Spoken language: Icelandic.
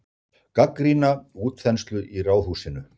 Gagnrýna útþenslu í Ráðhúsinu